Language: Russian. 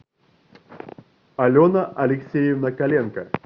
алена алексеевна коленко